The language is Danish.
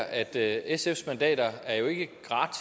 at sfs mandater jo ikke